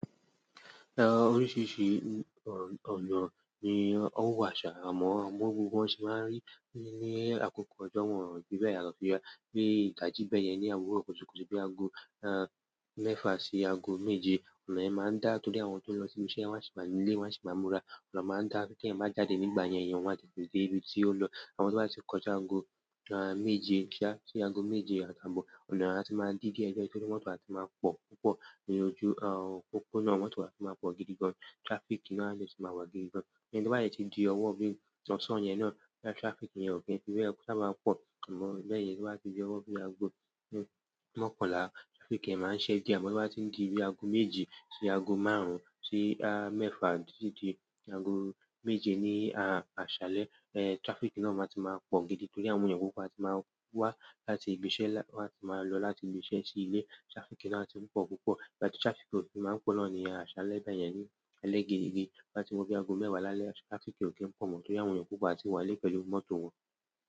Oríṣiríṣi ọ̀nà ni ó wa ṣà. Àmọ bi gbogbo wọ́n se máa ń rí i ní àkókò ọjọ́ wọ̀n fi bẹ́ẹ̀ yàtọ̀. Ídaji bẹ́yẹn ní òwúrọ̀ kùtùkùtù bé aago mẹ́fà sí aago méje, ọ̀nà yen máa ń dá. Torí àwọn tó ń lọ sí ibi iṣẹ́ wọ́n á sì wáa ńinu ilé, wọ́n á sì máa múra. Ọ̀nà máa ń dá. Bí ẹ̀yan báa jáde nígbà yẹn, ẹ̀yin maá tètè dé ibi tí oun lọ̀. Àmọ to bá ti kó ja aago méje sí aago méje àtàbọ̀, ọ̀nà ti máa di díẹ̀díẹ̀. Torí mọ́tò a ti máa pọ̀ púpọ̀ ní ojú òpópónà, mọ́tò a ti máa pọ̀ gidigan, traffic náà yóò sì máa wà gidigan. Tí o bá dẹ ti di ọwọ́ bí ti osán yẹn náà, traffic yẹn ò kí ń fi bẹ́ẹ̀ saaba máa n pọ̀ mọ́ bẹ́ẹ̀ yẹn tó bá di bi ọwọ́ bí i aago mọ́kànlá, traffic yẹn maa n se diẹ. Amo to ba tin di bi aago méjì si aago maarun si boya mẹfa titi di aago méje nii aṣalẹ, trafiki náà maa ti maa pọ gidi, torí àwọn eyan a ti ma wa láti ibi iṣẹ́. Wọn a ma lọ láti ibi ìṣe sí ilé. Traffic náà ti ń pọ̀ púpọ̀, ìgbà tí traffic ò kí ń máa ń pọ̀ náà ni aṣálẹ́ báyẹn ni ẹlẹ́ge. To bà tí wọ bi aago mẹ́wàá lálẹ́, traffic ò kí ń pọ̀ mọ́ torí àwọn èèyàn púpọ̀ a ti wà nilé pẹ̀lú mọ́tò wọn.